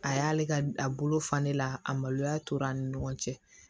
A y'ale ka a bolo fa ne la a maloya tora an ni ɲɔgɔn cɛ